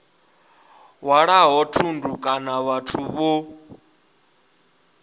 hwalaho thundu kana vhathu vho